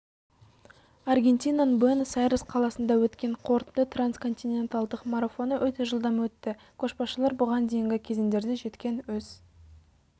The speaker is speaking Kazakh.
аргентинаның буэнос-айрес қаласында өткен қорытынды трансконтиненталдық марафоны өте жылдам өтті көшбасшылар бұған дейінгі кезеңдерде жеткен өз